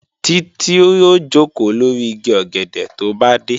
Títí ó jòkó lórí igi ọ̀gẹ̀dẹ̀ tó bá dé